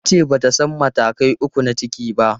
Ta ce ba ta san matakai uku na ciki ba.